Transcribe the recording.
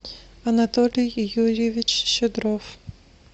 анатолий юрьевич щедров